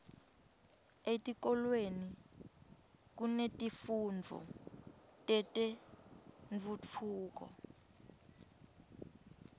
etikolweni kunetifundvo tetentfutfuko